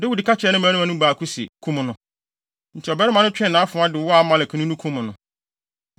Dawid ka kyerɛɛ ne mmarima no mu baako se, “Kum no!” Enti ɔbarima no twee nʼafoa de wɔɔ Amalekni no, kum no.